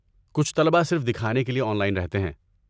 کچھ طلباء صرف دکھانے کے لیے آن لائن رہتے ہیں۔